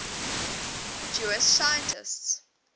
jewish scientists